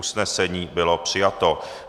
Usnesení bylo přijato.